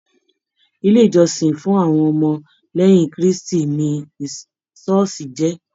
Ilé ìjósìn fún àwọn ọmọ léyìn kristi ni ṣooṣi jé.